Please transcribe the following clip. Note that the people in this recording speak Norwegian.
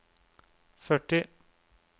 førti